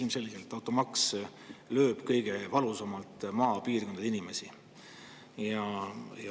Ilmselgelt lööb automaks kõige valusamalt maapiirkondade inimesi.